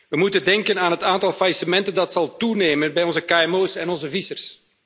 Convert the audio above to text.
We moeten denken aan het aantal faillissementen dat zal toenemen bij onze kmo's en onze vissers.